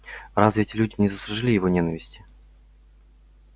разве эти люди не заслужили его ненависти